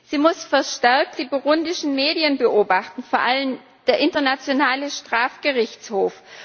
Sie muss verstärkt die burundischen Medien beobachten, vor allem der Internationale Strafgerichtshof.